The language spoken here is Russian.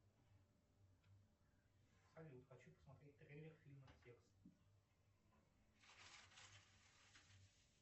салют хочу посмотреть трейлер фильма текст